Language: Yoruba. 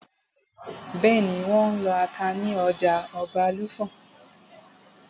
Bẹ́ẹ̀nì, wọ́n n lọ ata ní ọjà Ọbàlùfọ̀n